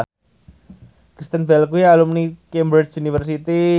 Kristen Bell kuwi alumni Cambridge University